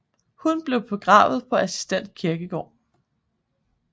Han blev begravet på Assistens Kirkegård